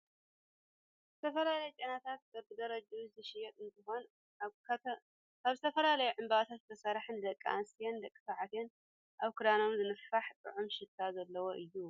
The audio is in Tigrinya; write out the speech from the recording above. ዝተፈላለዩ ጨናታት በቢደረጅኡ ዝሽየጥ እንትኮን፣ ካብ ዝተፈላለዩ ዕንባባታት ዝስራሕ ንደቂ ኣንስትዮን ደቂ ተባዕትዮን ኣብ ክዳኖም ዝንፋሕ ጡዑም ሽታ ዘለዎ እዩ።